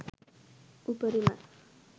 උපරිමයි